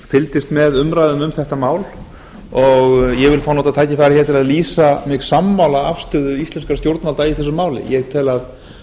fylgdist með umræðum um þetta mál og ég vil fá að nota tækifærið hér til að lýsa mig sammála afstöðu íslenskra stjórnvalda í þessu máli ég tel